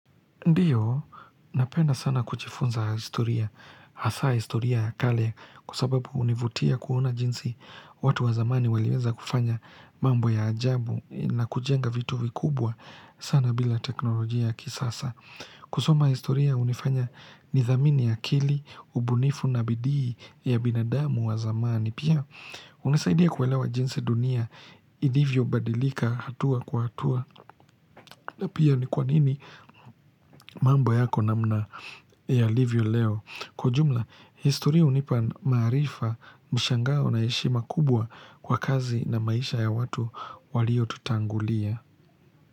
Ndiyo, napenda sana kujifunza historia, hasa historia ya kale, kwa sababu hunivutia kuona jinsi watu wa zamani waliweza kufanya mambo ya ajabu na kujenga vitu vikubwa sana bila teknolojia kisasa. Kusoma historia hunifanya nithamini akili, ubunifu na bidii ya binadamu wa zamani. Pia, hunisaidia kuelewa jinsi dunia ilivyobadilika hatua kwa hatua. Na pia ni kwanini mambo yako namna yalivyo leo. Kwa jumla, historia hunipa maarifa, mshangao na heshi ma kubwa kwa kazi na maisha ya watu waliotutangulia.